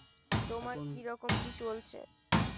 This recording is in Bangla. তোমার কি রকম কি চলছে?